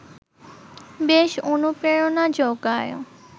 বেশ অনুপ্রেরণা জোগায়